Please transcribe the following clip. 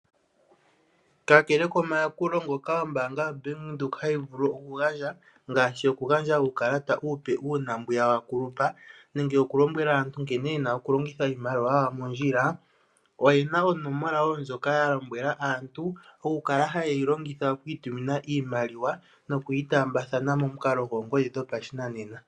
Kakele komayakulo ngoka ombaanga yoBank Windhoek hayi vulu oku gandja ngaashi oku gandja uukalata uupe uuna mbwiya wa kulupa nenge oku lombwela aantu nkene ye na oku longitha iimaliwa yawo mondjila, oye na onomola wo ndjoka ya lombwela aantu oku kala haye yi longitha okwii tumina iimaliwa noku yi taambathana momukalo goongodhi dho pashinanena.